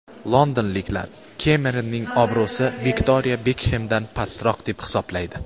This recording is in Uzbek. Londonliklar Kemeronning obro‘si Viktoriya Bekxemdan pastroq deb hisoblaydi.